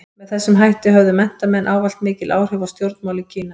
Með þessum hætti höfðu menntamenn ávallt mikil áhrif á stjórnmál í Kína.